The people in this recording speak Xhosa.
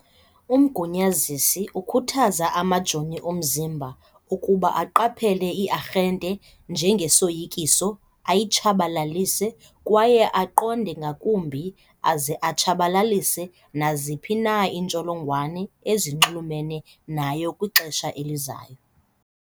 Umgunyazisi ukhuthaza amajoni omzimba ukuba aqaphele i-arhente njengesoyikiso, ayitshabalalise, kwaye aqonde ngakumbi aze atshabalalise naziphi na iintsholongwane ezinxulumene nayo kwixesha elizayo.